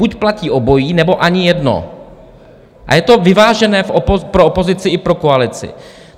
Buď platí obojí, nebo ani jedno, a je to vyvážené pro opozici i pro koalici.